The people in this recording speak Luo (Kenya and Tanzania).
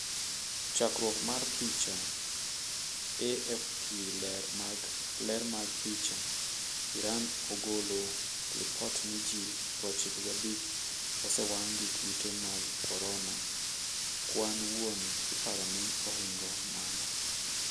Chakruok mar picha, AFP ler mag picha, Iran ogolo lipot ni ji 95 osenwang' gi kute mag korona, kwan wuon iparo ni ohingo mano.